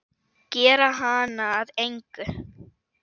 Gera hana að engu.